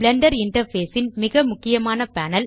Blender interface ன் மிக முக்கியமான பேனல்